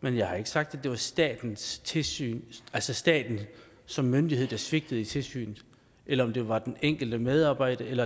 men jeg har ikke sagt at det var statens tilsyn altså staten som myndighed der svigtede i tilsynet eller om det var den enkelte medarbejder eller